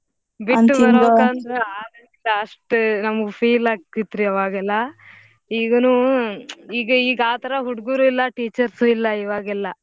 ಬಿಟ್ ಬರ್ಬೇಕಂದರ ಆಗಂಗಿಲ್ಲಾ ಅಷ್ಟ ನಮ್ಗ್ feel ಆಕ್ಕಿತ್ರಿ ಅವಾಗೆಲ್ಲಾ ಈಗನೂ ಈಗ ಈಗ್ ಆತರ ಹುಡ್ಗೂರೂ ಇಲ್ಲಾ teachers ಇಲ್ಲಾ ಇವಾಗೆಲ್ಲಾ.